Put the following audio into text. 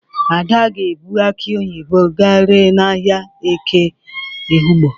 Ada ga-ebu akị onyibo ga ree n'ahịa eke Ehụgbọ.